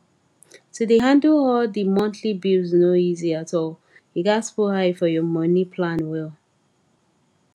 to dey handle all di monthly bills no easy at allyou gats put eye for your money plan well